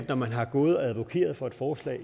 når man har gået og advokeret for et forslag